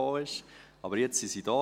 Aber jetzt sind sie da.